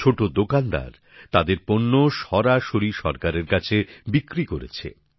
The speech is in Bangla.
ছোটো দোকানদার তাদের পণ্য সরাসরি সরকারের কাছে বিক্রি করেছে